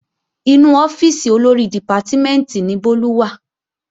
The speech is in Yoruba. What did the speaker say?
Inú ọ́fíìsì Olórí dìpátímẹ̀ntì ni Bólú wà